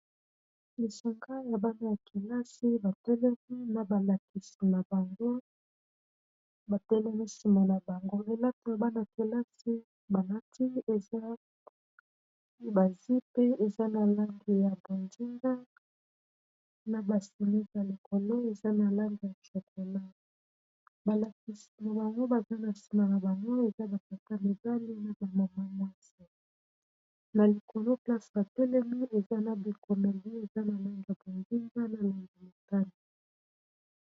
lisanga ya bana ya kelasi ba telemi na balakisi na bango batelemi sima na bango .Bana kelasi balati eza ba jupe eza na langi ya bo ndinga na basimi ya likolo eza na lange ya chakola. balakisi na bango baza na nsima na bango eza bakata medali na bamama mwasi na likolo place batelemi eza na bikomeli eza na langi ya bondinga na langi mutane